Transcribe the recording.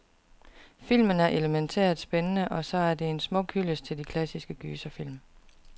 Filmen er elemæntært spændende, og så er den en smuk hyldest til de klassiske gyserfilm.